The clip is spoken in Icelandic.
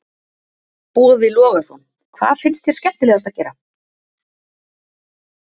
Boði Logason: Hvað finnst þér skemmtilegast að gera?